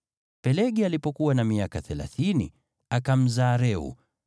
Pelegi alipokuwa na miaka thelathini, akamzaa Reu.